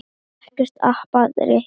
Ekkert app breytir því.